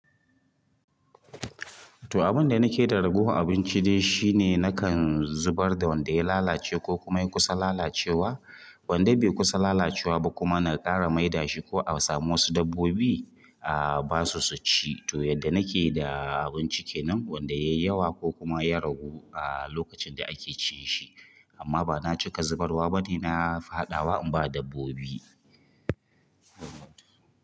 To, abin da nake da ragowan abinci dai shine nakan zubar da wanda ya lalace ko kuma ya kusa lalacewa. Wanda bai kusa lalacewa ba kuma na ƙara maidashi ko a samu wasu dabbobi, ah basu su ci. To yadda nake da abinci kenan wanda yayi yawa ko kuma ya ragu ah lokacin da ake cin shi amma bana cika zubarwa bane. Na faɗawa in ba dabbobi.